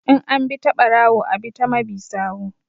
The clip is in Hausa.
In an bi ta ɓarawo a ɓi ta mabi sawu